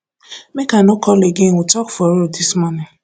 make i no call again we talk for road dis morning